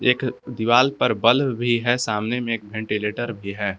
एक दीवाल पर बल्ब भी है सामने में एक वेंटीलेटर भी है।